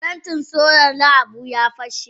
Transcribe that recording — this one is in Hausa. Parantin solar na Habu ya fashe.